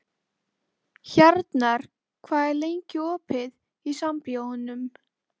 Hjarnar, hvað er lengi opið í Sambíóunum?